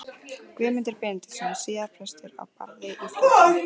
Guðmundur Benediktsson, síðar prestur á Barði í Fljótum.